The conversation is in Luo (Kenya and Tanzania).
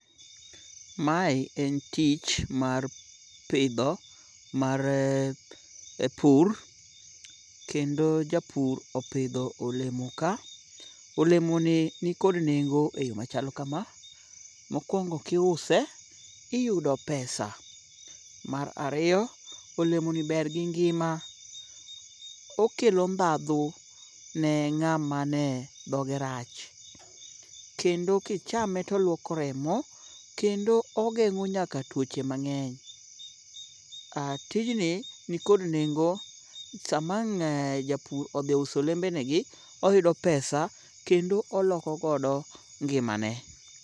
Mae en tich mar pidho mar pur kendo japur opidho olemo ka. Olemoni nikod nengo e yo machalo kama; Mokwongo kiuse iyudo pesa. Mar ariyo, olemoni ber gi ngima, okelo ndhadhu ne ng'ama ne dhoge rach kendo kichame toluoko remo kendo ogeng'o nyaka tuoche mang'eny. Tijni nikod nengo sama ang' japur odhiuso olembenegi oyudo pesa kendo olokogodo ngimane.